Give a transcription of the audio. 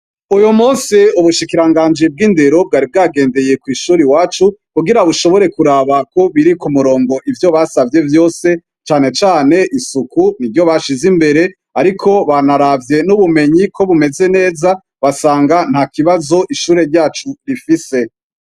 Uyumusi ubushikiranganji bwindero bwari bwagendeye kwishure iwacu kugira bushobore kuraba kobiri kumurongo ivyo basavye vyose cane cane isuku niryo bashize imbere ariko banaravye nubumenyi kobumeze neza basanga ntakibazo ishure ryacu rifise